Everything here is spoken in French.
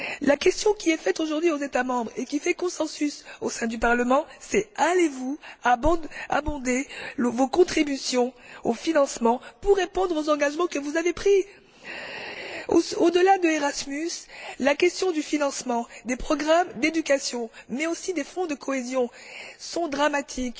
La question qui est posée aujourd'hui aux États membres et qui fait consensus au sein du Parlement, c'est allez vous augmenter vos contributions au financement pour répondre aux engagements que vous avez pris? Au delà d'ERASMUS, la question du financement des programmes d'éducation mais aussi des fonds de cohésion est dramatique.